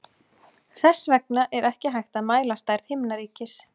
Þess vegna er ekki hægt að mæla stærð himnaríkis.